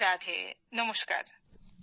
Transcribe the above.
রাধে রাধে নমস্কার